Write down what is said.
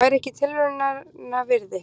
Það væri ekki tilraunarinnar virði.